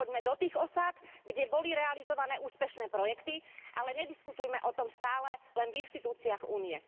Poďme do tých osád, kde boli realizované úspešné projekty, ale nediskutujme o tom stále len v inštitúciách Únie.